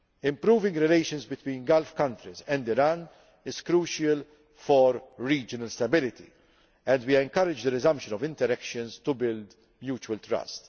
Improving relations between Gulf countries and Iran is crucial for regional stability, and we encourage the resumption of interactions to build mutual